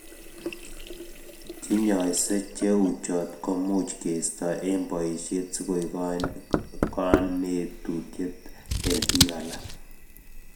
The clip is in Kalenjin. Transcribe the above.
Che nyaise che uchot komuch keisto eng' boishet si koek kanetutiet eng piik alak